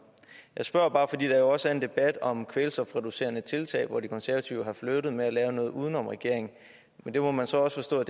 jeg spørger bare fordi der jo også er en debat om kvælstofreducerende tiltag hvor det konservative folkeparti har flirtet med at lave noget uden om regeringen men det må man så forstå